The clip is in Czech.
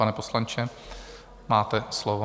Pane poslanče, máte slovo.